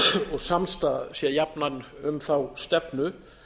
og samstaða sé jafnan um þá stefnu